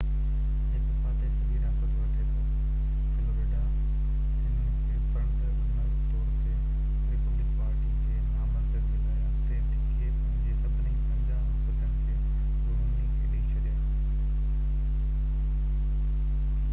هڪ فاتح-سڄي-رياست وٺي ٿو، فلوريڊا هنن کي فرنٽر-رنر طور تي ريپبلڪن پارٽي جي نامزدگيءَ لاءِ اڳتي ڌڪي پنهنجي سڀني پنجاهه وفدن کي رومني کي ڏئي ڇڏيا،